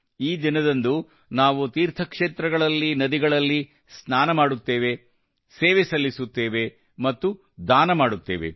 ಈ ದಿನದಂದು ನಾವು ತೀರ್ಥಕ್ಷೇತ್ರಗಳಲ್ಲಿ ನದಿಗಳಲ್ಲಿ ಸ್ನಾನ ಮಾಡುತ್ತೇವೆ ಸೇವೆ ಸಲ್ಲಿಸುತ್ತೇವೆ ಮತ್ತು ದಾನ ಮಾಡುತ್ತೇವೆ